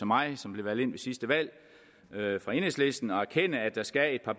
mig som blev valgt ind ved sidste valg for enhedslisten at erkende at der skal